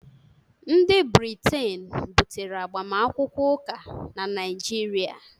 ndị Briten butere agbamakwụkwọ ụka na Naịjirịa